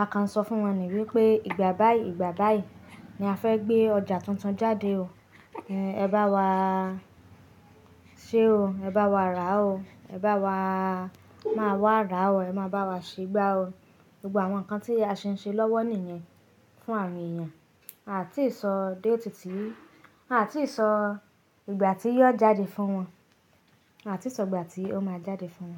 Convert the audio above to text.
A kan ń sọ fún wọn ní wípé ìgbà báyìí, ìgbà báyìí ni a fẹ́ gbé ọjà tuntun jáde o. Ẹ bá wa ṣe o, ẹ bá wa rà o, ẹ bá wa, máa wá rà á o, ẹ máa bá wa ṣé gbá o. Gbogbo àwọn nǹkan tí a ṣe ń ṣe lọ́wọ́ nìyen fún àwọn ènìyàn. A ò tíì sọ date ti, a ò tí ì sọ ìgbà tí yóò jáde fún wọn. A ò tí ì sọ ìgbà tí ó máa jáde fún wọn.